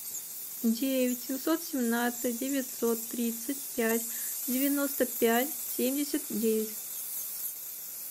девять семьсот семнадцать девятьсот тридцать пять девяносто пять семьдесят девять